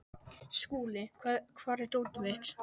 Skúli, hvar er dótið mitt?